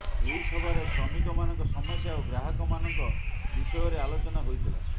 ଏହି ସଭାରେ ଶ୍ରମିକ ମାନଙ୍କ ସମସ୍ୟା ଓ ଗ୍ରାହକ ମାନଙ୍କ ବିଷୟ ରେ ଆଲୋଚନା ହୋଇଥିଲା